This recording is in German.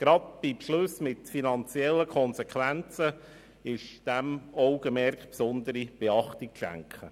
Gerade bei Beschlüssen mit finanziellen Konsequenzen ist dieser Tatsache besondere Beachtung zu schenken.